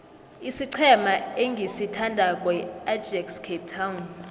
isiqhema engisithandako yiajax cape town